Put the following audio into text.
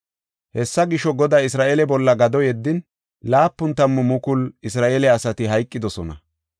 Hessa gisho, Goday Isra7eele bolla gado yeddin, 70,000 Isra7eele asati hayqidosona.